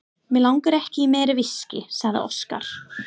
Mig langar ekki í meira viskí, sagði Óskar.